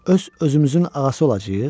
Öz-özümüzün ağası olacağıq?